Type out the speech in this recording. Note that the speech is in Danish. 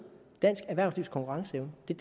er